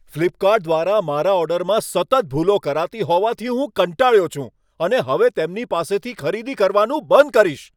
Flipkart દ્વારા મારા ઓર્ડરમાં સતત ભૂલો કરાતી હોવાથી હું કંટાળ્યો છું અને હવે તેમની પાસેથી ખરીદી કરવાનું બંધ કરીશ.